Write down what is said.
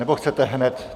Nebo chcete hned?